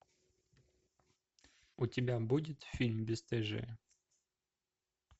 у тебя будет фильм бесстыжие